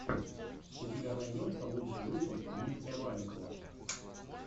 у тебя найдется лучший выпуск дмитрия маликова